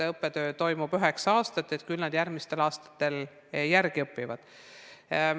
Õppetöö toimub ju üheksa aastat, küll nad järgmistel aastatel järele õpivad.